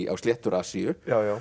á sléttur Asíu